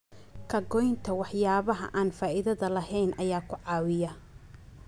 Ka-goynta waxyaabaha aan faa'iidada lahayn ayaa ku caawiya.